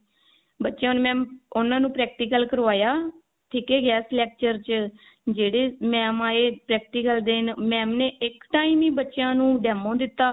ਬੱਚਿਆਂ ਨੂੰ mam ਉਹਨਾਂ ਨੂੰ practical ਕਰਵਾਇਆ ਠੀਕ ਹੈ guest lecture ਚ ਜਿਹੜੇ mam ਆਏ practical ਦੇਣ mam ਨੇ ਇੱਕ time ਹੀ ਬੱਚਿਆਂ ਨੂੰ demo ਦਿੱਤਾ